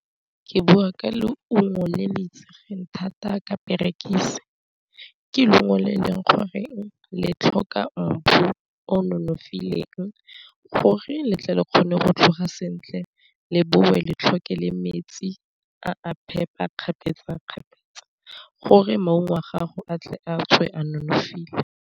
Ke bua ka leungo le le itsegeng thata ka perekiso ke leungo le e leng gore le tlhoka mbu o nonofileng gore le tle re kgone go tlhoga sentle, le bongwe le tlhoke le metsi a phepa kgapetsakgapetsa gore maungo a gago a tle a tswe a nonofile.